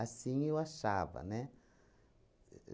eu achava, né? Ahn ahn